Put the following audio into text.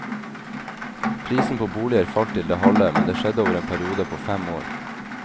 Prisen på boliger falt til det halve, men det skjedde over en periode på fem år.